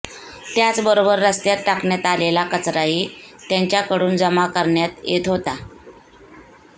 त्याचबरोबर रस्त्यावर टाकण्यात आलेला कचराही त्यांच्याकडून जमा करण्यात येत होता